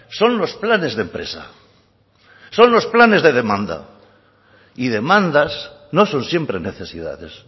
son los planes de empresa son los planes de demanda y demandas no son siempre necesidades